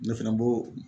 Ne fɛnɛ bo